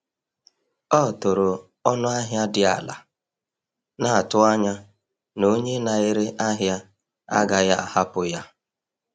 Ọ tụrụ ọnụ ahịa dị ala, na-atụ anya na onye na-ere ahịa agaghị ahapụ ya.